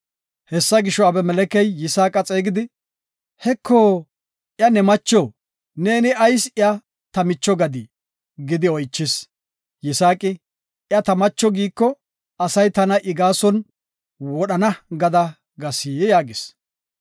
Hessa gisho, Abimelekey Yisaaqa xeegisidi, “Heko, iya ne macho; neeni ayis iya ta micho gadii?” gidi oychis. Yisaaqi, “Iya ta macho giiko, asay tana I gaason wodhana gada gas” yaagis.